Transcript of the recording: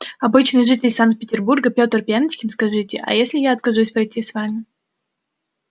обычный житель санкт-петербурга пётр пеночкин скажите а если я откажусь пройти с вами